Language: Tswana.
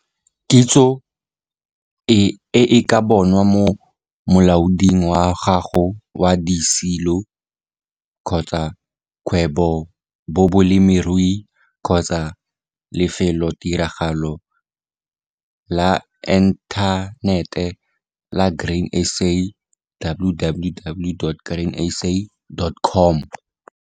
Kitso e e ka bonwa mo molaoding wa gago wa disilo-kgwebobolemirui kgotsa mo lefelotiragalo la enthanete la Grain SA, www.grainsa.com.